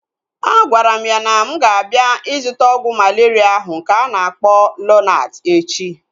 Agwara m ya na mụ ga-abịa ịzụta ọgwụ malaria ahụ nke a na-akpọ Lonart echi